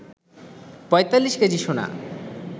৪৫ KG সোনা